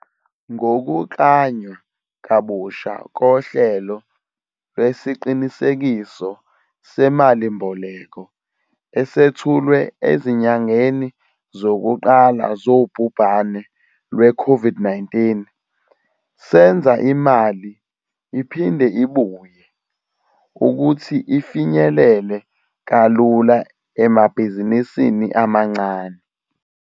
Ngokuklanywa kabusha kohlelo lwesiqinisekiso semali-mboleko esethulwe ezinyangeni zokuqala zobhubhane lweCOVID-19, senza imali 'iphinde ibuye' ukuthi ifinyelele kalula emabhizinisini amancane.